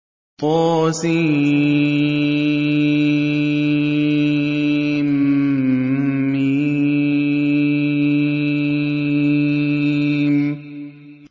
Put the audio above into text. طسم